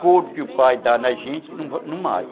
Coro que o pai dá na gente, não mata.